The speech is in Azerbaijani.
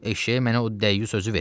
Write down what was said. Eşşəyi mənə o dəyyus özü veribdir.